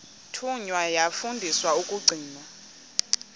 thunywa yafundiswa ukugcina